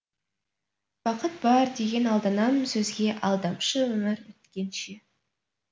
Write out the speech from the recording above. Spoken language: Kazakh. бақыт бар деген алданам сөзге алдамшы өмір өткенше